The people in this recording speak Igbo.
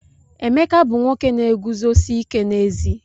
Emeka bu nwoke na-eguzosi ike n'ezi.